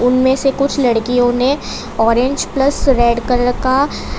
इनमें से कुछ लड़कियों ने ऑरेंज प्लस रेड कलर का--